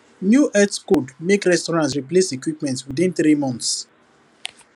new health code make restaurant replace equipment within three months